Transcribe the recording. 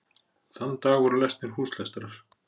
Þann dag voru lesnir húslestrar.